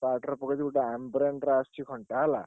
Flipkart ରେ ପକେଇଛି ଗୋଟେ Ambrane ର ଆସଚି ଘଣ୍ଟା ହେଲା?